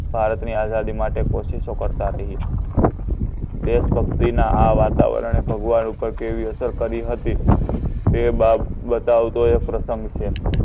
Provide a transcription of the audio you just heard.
ભારતની આઝાદી માટે કોશિશો કરતા રહ્યા. દેશભક્તિના આ વાતાવરણે ભગવાન ઉપર કેવી અસર કરી હતી તે બતાવતો એ પ્રસંગ છે.